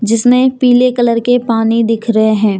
जिसमें पीले कलर के पानी दिख रहे हैं।